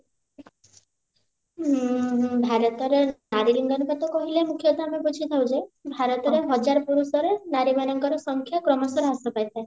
ଉଁ ଭାରତର ନାରୀ ଲିଙ୍ଗାନୁପାତ କହିଲେ ମୁଖ୍ୟତଃ ଆମେ ବୁଝିଥାଉ ଯେ ଭାରତରେ ହଜାରେ ପୁରୁଷରେ ନାରୀ ମାନଙ୍କ ସଂଖ୍ୟା କ୍ରମଶ ହ୍ରାସ ପାଇଥାଏ